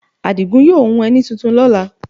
Àdìgún yóò hun ẹní tuntun ní ọ̀la